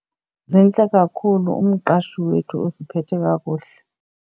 Zintle kakhhulu. Umqashi wethu usiphethe kakuhle.